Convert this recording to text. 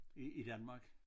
I i Danmark